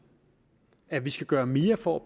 at vi skal gøre mere for